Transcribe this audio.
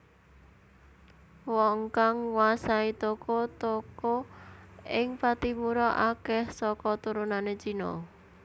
Wong kang nguasai toko toko ing Pattimura akèh saka turunané Cina